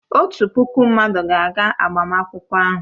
Otu puku mmadụ ga-aga agbamakwụkwọ ahụ.